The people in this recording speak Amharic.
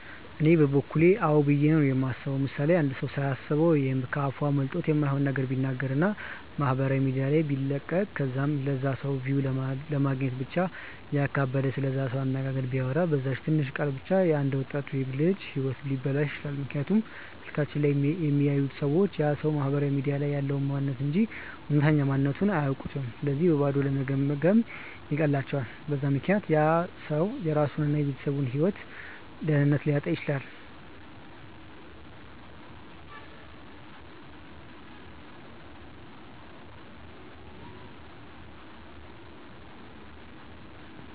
እኔ በበኩሌ አዎ ብዬ ነው የማስበው። ምሳሌ፦ አንድ ሰው ሳያስበው ወይም ከ አፉ አምልጦት የማይሆን ነገር ቢናገር እና ማህበራዊ ሚዲያ ላይ ቢለቅ ከዛም ለላ ሰው ቪው ለማግኘት ብቻ እያካበደ ስለዛ ሰው አነጋገር ቢያወራ፤ በዛች ትንሽ ቃል ብቻ የ አንድ ወጣት ወይም ልጅ ህይወት ሊበላሽ ይችላል፤ ምክንያቱም ስልካቸው ላይ የሚያዩት ሰዎች ያ ሰው ማህበራዊ ሚዲያ ላይ ያለውን ማንንነት እንጂ እውነተኛ ማንነትቱን አያውኩም ስለዚህ በባዶ ለመገምገም ይቀላቸዋል፤ በዛ ምክንያት ያ ሰው የራሱን እና የቤተሰቡን ደህንነት ሊያጣ ይችላል።